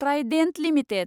Trident limited